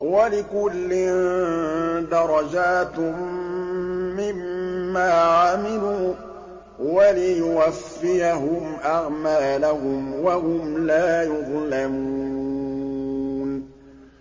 وَلِكُلٍّ دَرَجَاتٌ مِّمَّا عَمِلُوا ۖ وَلِيُوَفِّيَهُمْ أَعْمَالَهُمْ وَهُمْ لَا يُظْلَمُونَ